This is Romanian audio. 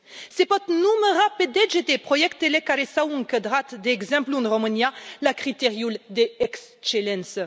Se pot număra pe degete proiectele care s au încadrat, de exemplu, în România, la criteriul de excelență.